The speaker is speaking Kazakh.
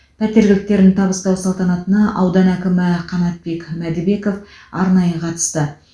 пәтер кілттерін табыстау салтанатына аудан әкімі қанатек мәдібеков арнайы қатысты